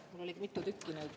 Mul on mitu tükki neid.